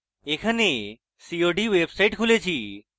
এখানে cod website খুলেছি